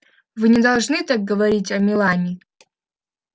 вы не должны так говорить о мелани